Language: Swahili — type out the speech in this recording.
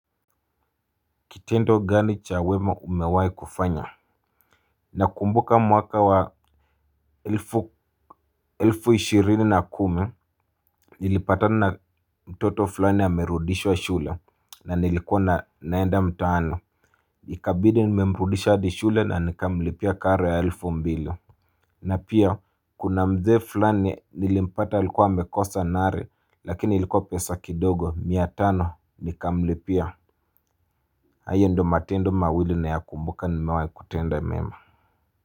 Kitendo gani chawema umewahi kufanya. Nakumbuka mwaka wa elfu ishirini na kumi nilipatana na mtoto fulani amerudishwa shule na nilikuwa naenda mtaano. Ikabidi nime mrudisha hadi shule na nikamlipia karo ya elfu mbili. Na pia kuna mzee fulani nilimpata alikuwa amekosa nare lakini ilikuwa pesa kidogo miatano nikamlipia. Na hiyo ndo matendo mawili na ya kumbuka nimewahi kutenda mema.